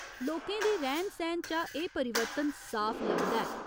लोकें दे रैह्‌न सैह्‌न चा एह् परिवर्तन साफ लभदा ऐ।